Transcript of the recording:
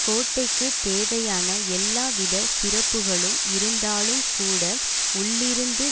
கோட்டைக்குத் தேவையான எல்லாவித சிறப்புகளும் இருந்தாலும்கூட உள்ளிருந்து